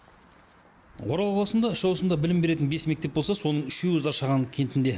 орал қаласында үш ауысымда білім беретін бес мектеп болса соның үшеуі зашаған кентінде